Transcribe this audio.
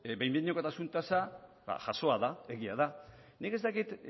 behin behinekotasun tasa jasoa da egia da nik ez dakit